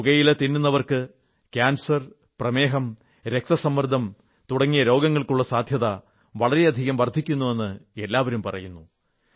പുകയില തിന്നുന്നവർക്ക് കാൻസർ പ്രമേഹം രക്തസമ്മർദ്ദം തുടങ്ങിയ രോഗങ്ങൾക്കുള്ള സാധ്യത വളരെയധികം വർധിക്കുന്നുവെന്ന് എല്ലാവരും പറയുന്നു